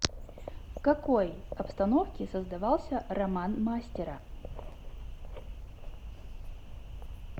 в какой обстановке создавался роман мастера